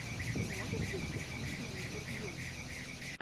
ты можешь включить смешные интервью